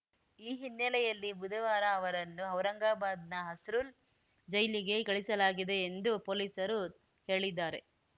ಈ ಹಿನ್ನೆಲೆಯಲ್ಲಿ ಬುಧವಾರ ಅವರನ್ನು ಔರಂಗಾಬಾದ್‌ನ ಹಸ್ರುಲ್‌ ಜೈಲಿಗೆ ಕಳಿಸಲಾಗಿದೆ ಎಂದು ಪೊಲೀಸರು ಹೇಳಿದ್ದಾರೆ